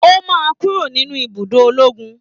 O máa kúrò nínú ibùdó ológun